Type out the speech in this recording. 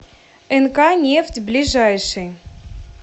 нк нефть ближайший